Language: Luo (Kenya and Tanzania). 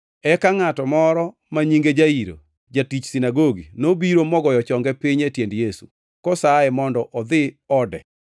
Eka ngʼato moro ma nyinge Jairo, jatich sinagogi, nobiro mogoyo chonge piny e tiend Yesu, kosaye mondo odhi ode,